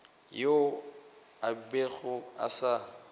yoo a bego a sa